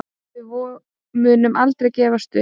Við munum aldrei gefast upp